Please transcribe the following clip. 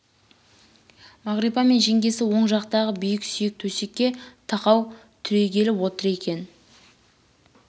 мағрипа мен жеңгесі оң жақтағы биік сүйек төсекке тақау түрегеліп отыр екен